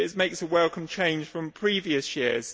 This makes a welcome change from previous years.